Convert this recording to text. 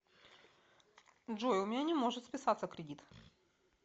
джой у меня не может списаться кредит